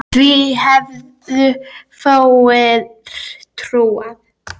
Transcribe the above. Því hefðu fáir trúað.